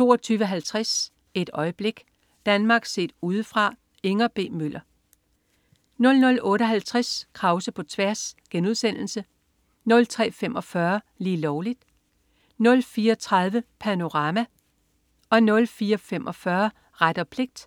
22.50 Et øjeblik. Danmark set Udefra. Inger B. Møller 00.58 Krause på tværs* 03.45 Lige Lovligt* 04.30 Panorama* 04.45 Ret og pligt*